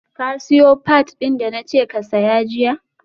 ka siyo pads din da na ce ka saya jiya?